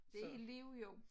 Det et helt liv jo